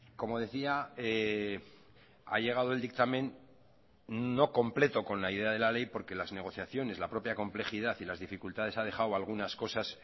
como decía ha llegado el dictamen no completo con la idea de la ley porque las negociaciones la propia complejidad y las dificultades ha dejado algunas cosas